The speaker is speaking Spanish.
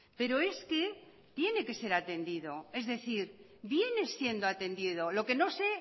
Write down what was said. pero es que tiene que ser atendido es decir viene siendo atendido lo que no se